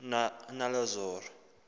nolazaro